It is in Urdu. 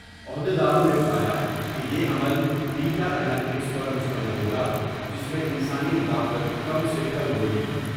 عہد یداروں نے بتایا کہ یہ عمل بیٹا انالیٹکس پرمشتمل ہوگا جس میں انسانی مداخلت کم سے کم ہوگی ۔